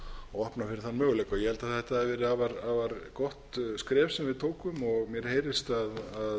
og opna fyrir þann möguleika ég held að þetta hafi verið afar gott skref sem við tókum og mér heyrist að